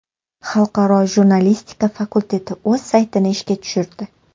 Xalqaro jurnalistika fakulteti o‘z saytini ishga tushirdi.